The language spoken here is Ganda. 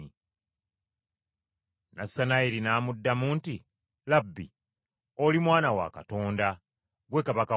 Nassanayiri n’amuddamu nti, “Labbi, oli Mwana wa Katonda, gwe Kabaka wa Isirayiri!”